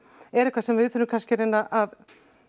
er eitthvað sem við þurfum kannski að reyna að